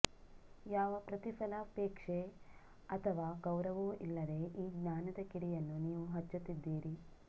ಯಾವ ಪ್ರತಿಫಲಾಪೇಕ್ಷೆ ಅಥವಾ ಗೌರವವೂ ಇಲ್ಲದೆ ಈ ಜ್ಞಾನದ ಕಿಡಿಯನ್ನು ನೀವು ಹಚ್ಚುತ್ತಿದ್ದೀರಿ